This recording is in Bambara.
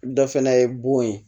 Dɔ fana ye bon ye